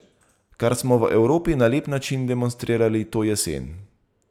Kar smo v Evropi na lep način demonstrirali to jesen.